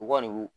U kɔni